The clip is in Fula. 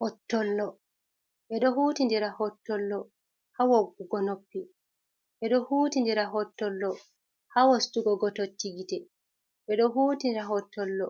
Hottollo ɓe do huuti ndira hottollo ha woggugo noppi, ɓe ɗo huuti ndira hottollo ha wostugo gototi gite, ɓe ɗo huuti ndira hottollo